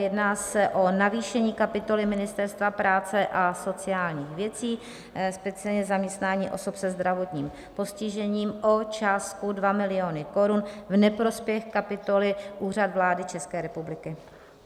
Jedná se o navýšení kapitoly Ministerstva práce a sociálních věcí, speciálně zaměstnání osob se zdravotním postižením, o částku 2 miliony korun v neprospěch kapitoly Úřad vlády České republiky.